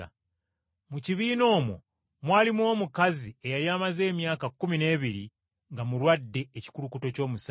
Mu kibiina omwo mwalimu omukazi eyali amaze emyaka kkumi n’ebiri nga mulwadde ekikulukuto ky’omusaayi.